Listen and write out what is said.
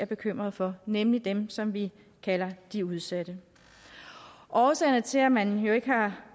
bekymret for nemlig dem som vi kalder de udsatte årsagerne til at man ikke har